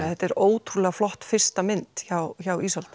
þetta er ótrúlega flott fyrsta mynd hjá hjá